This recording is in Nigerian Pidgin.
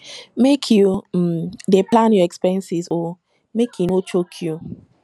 make you um dey plan your expenses o make e no choke you